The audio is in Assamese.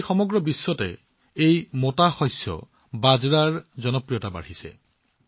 আজি সমগ্ৰ বিশ্বতে এই মোটা শস্য বাজৰাৰ উন্মাদনা বৃদ্ধি পাইছে